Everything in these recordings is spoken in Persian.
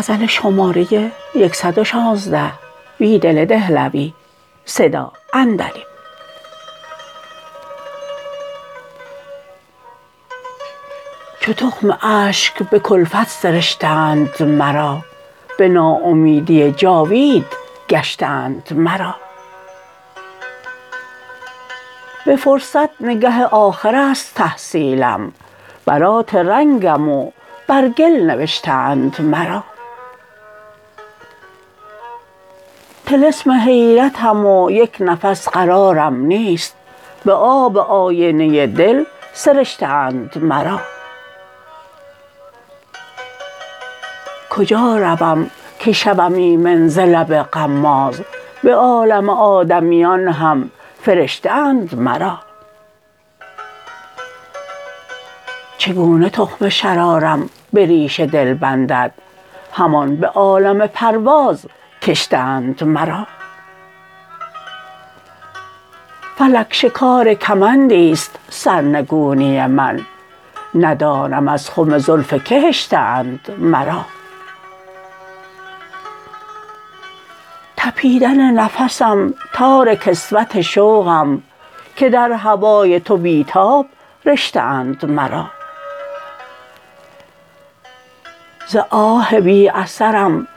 چو تخم اشک به کلفت سرشته اند مرا به ناامیدی جاوید گشته اند مرا به فرصت نگه آخر است تحصیلم برات رنگم و برگل نوشته اند مرا طلسم حیرتم ویک نفس قرارم نیست به آب آینه دل سرشته اند مرا کجا روم که شوم ایمن زلب غماز به عالم آدمیان هم فرشته اند مرا چگونه تخم شرارم به ریشه دل بندد همان به عالم پروازکشته اند مرا فلک شکارکمندی ست سرنگونی من ندانم از خم زلف که هشته اند مرا تپیدن نفسم تارکسوت شوقم که در هوای تو بیتاب رشته اند مرا ز آه بی اثرم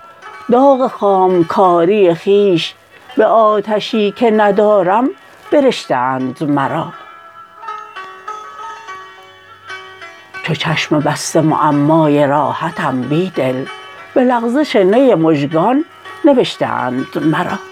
داغ خامکاری خویش به آتشی که ندارم برشته اند مرا چوچشم بسته معمای راحتم بیدل به لغزش نی مژگان نوشته اند مرا